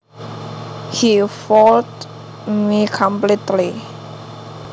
He fooled me completely